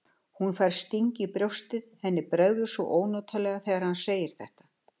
Hún fær sting í brjóstið, henni bregður svo ónotalega þegar hann segir þetta.